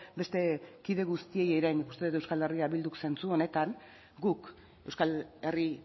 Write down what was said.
beste kide guztiei ere nik uste dut euskal herria bilduk zentsu honetan guk euskal herri